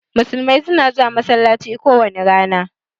Musulmai suna zuwa masallaci kowani rana.